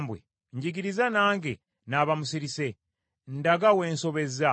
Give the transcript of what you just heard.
“Njigiriza nange n’aba musirise; ndaga we nsobezza.